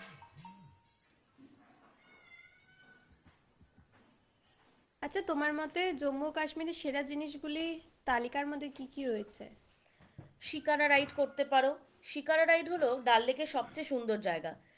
আচ্ছা তোমার মতে জম্মু কাশ্মীরে সেরা জিনিসগুলির তালিকার মধ্যে কি কি রয়েছে? শিকারা রাইড করতে পারো, শিকারা রাইড হলো ডাললেকের সবচেয়ে সুন্দর জায়গা,